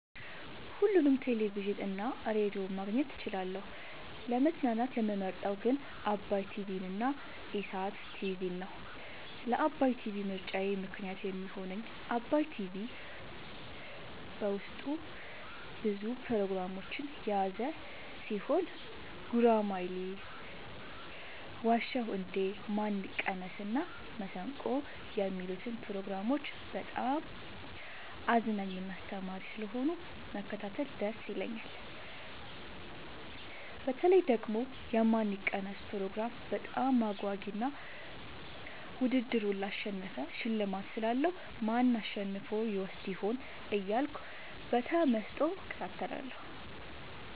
ሁሉንም ቴሌቪዥን እና ሬዲዮ ማግኘት እችላለሁ: : ለመዝናናት የምመርጠዉ ግን ዓባይ ቲቪንና ኢሣት ቲቪን ነዉ። ለዓባይ ቲቪ ምርጫየ ምክንያት የሚሆነኝ ዓባይ ቲቪ በዉስጡ ብዙ ፕሮግራሞችን የያዘ ቲሆን ጉራማይሌ የዋ ዉ እንዴ ማን ይቀነስ እና መሠንቆ የሚሉትን ፕሮግራሞች በጣም አዝናኝና አስተማሪ ስለሆኑ መከታተል ደስ ይለኛል። በተለይ ደግሞ የማን ይቀነስ ፕሮግራም በጣም አጓጊ እና ዉድድሩን ላሸነፈ ሽልማት ስላለዉ ማን አሸንፎ ይወስድ ይሆን እያልኩ በተመስጦ እከታተላለሁ።